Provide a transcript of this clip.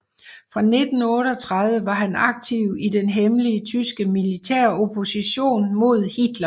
Fra 1938 var han aktiv i den hemmelige tyske militæropposition mod Hitler